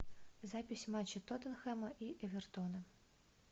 запись матча тоттенхэма и эвертона